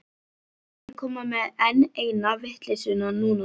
Ekki koma með enn eina vitleysuna núna.